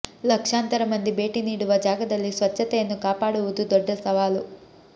ಲಕ್ಷಾಂತರ ಮಂದಿ ಭೇಟಿ ನೀಡುವ ಜಾಗದಲ್ಲಿ ಸ್ವಚ್ಛತೆಯನ್ನು ಕಾಪಾಡುವುದು ದೊಡ್ಡ ಸವಾಲು